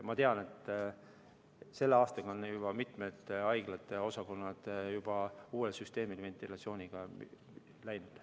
Ma tean, et sellel aastal on juba mitmed haiglate osakonnad uuele ventilatsioonisüsteemile üle läinud.